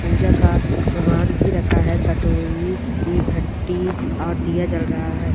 पूजा का सामान भी रखा है कटोरी ए घंटी और दिया जल रहा है।